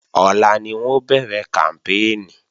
Ọ̀la ni wọn ó bẹ̀rẹ̀ kàmpéènì